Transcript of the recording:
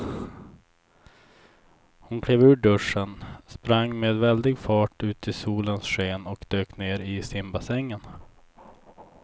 Hon klev ur duschen, sprang med väldig fart ut i solens sken och dök ner i simbassängen.